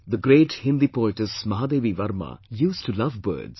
The great Hindi poetess Mahadevi Verma used to love birds